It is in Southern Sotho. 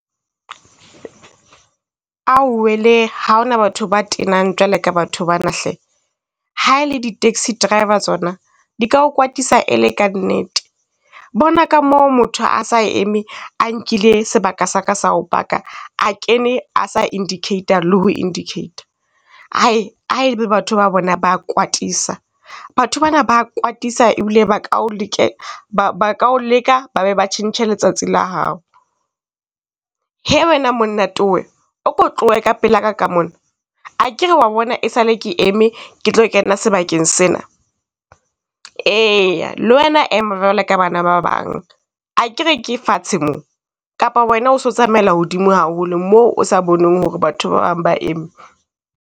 Ao wele ha hona batho ba tenang jwalo ka batho bana hle, haele di taxi driver tsona di ka kwatisa ele ka nnete. Bona ka moo motho a sa eme a nkile sebaka sa ka sa ho paka, a kene a sa indicate-a le ho indicate-a. Hai, ha e le batho ba bona ba ka a kwatisa, batho ba na ba kwatisa ebile ba ka o ba ba ka o leka, ba be ba tjhentjhe letsatsi la hao. Hee wena monna towe o ko tlohe ka pela ka ka mona, akere wa bona e sale ke eme ke tlo kena sebakeng sena. E ya, le wena ema jwale ka bana ba bang akere ke fatshe mo, kapa wena o so tsamaela hodimo haholo moo o sa boneng ho re batho ba bang ba eme?